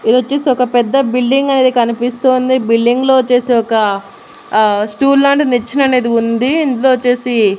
ఇదొచ్చేసి ఒక పెద్ద బిల్డింగ్ అనేది కనిపిస్తుంది బిల్డింగ్ లో వచ్చేసి ఒక ఆ స్టూల్ లానే నిచ్చేనా అనేది ఉంది ఇందులో వచ్చేసి --